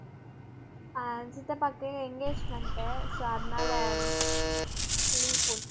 ஆஹ் சித்தப்பாவுக்கு engagement உ so அதனால leave போட்டேன்